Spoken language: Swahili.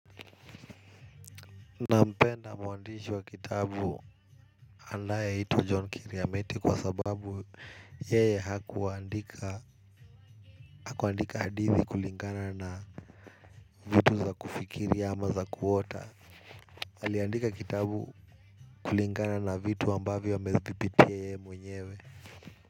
Na mpenda mwandishi wa kitabu anaye itwa John Kiriameti kwa sababu yeye hakuandika hadithi kulingana na vitu za kufikiri ama za kuota aliandika kitabu kulingana na vitu ambavyo amevipitia yeye mwenyewe.